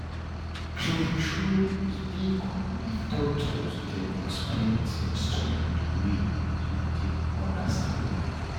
true-true e dey good if doctors dem explain tins to you the way you go take understand am